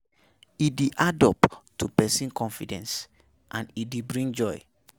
E de add up to persin confidence and e de bring joy